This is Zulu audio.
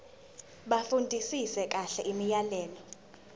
bafundisise kahle imiyalelo